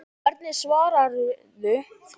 Hvernig svararðu því?